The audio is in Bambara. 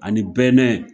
Ani bɛnɛ